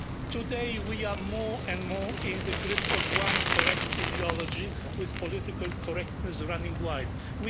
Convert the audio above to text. Today we are more and more in the grip of one correct ideology, with political correctness running wild.